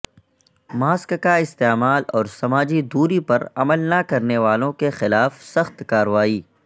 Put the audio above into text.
mask کا استعمال اور سماجی دوری پر عمل نہ کرنے والوں کے خلاف سخت کارروائی